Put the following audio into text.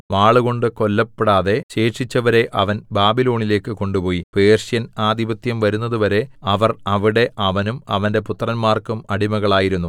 വാളുകൊണ്ട് കൊല്ലപ്പെടാതെ ശേഷിച്ചവരെ അവൻ ബാബിലോണിലേക്ക് കൊണ്ടുപോയി പേർഷ്യൻ ആധിപത്യം വരുന്നത് വരെ അവർ അവിടെ അവനും അവന്റെ പുത്രന്മാർക്കും അടിമകളായിരുന്നു